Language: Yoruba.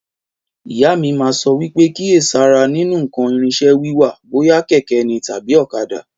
Ìyá mí ma sọ wípé kíyèsára nínú ǹkan ìrìnṣẹ̀ wiwà, bóyá kẹ̀kẹ́ ní tàbí ọ̀kadà